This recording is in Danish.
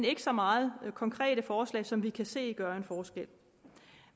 ikke så meget konkrete forslag som vi kan se gør en forskel